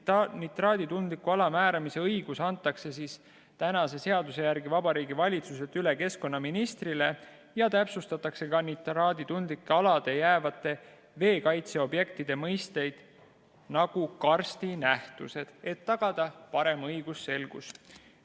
Nitraaditundliku ala määramise õigus antakse tänase seaduse järgi Vabariigi Valitsuselt üle keskkonnaministrile ja täpsustatakse ka nitraaditundlikele aladele jäävate veekaitseobjektide mõisteid, nagu karstinähtused, et tagada parem õigusselgus.